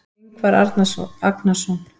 Ingvar Agnarsson.